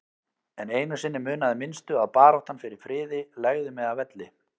En einu sinni munaði minnstu að baráttan fyrir friði legði mig að velli.